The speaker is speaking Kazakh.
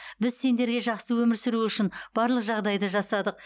біз сендерге жақсы өмір сүру үшін барлық жағдайды жасадық